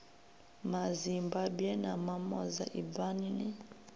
mazimbabwe na mamoza ibvani ni